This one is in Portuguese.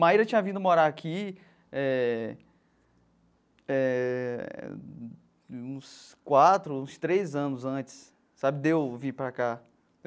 Maira tinha vindo morar aqui eh eh uns quatro, uns três anos antes sabe de eu vir para cá.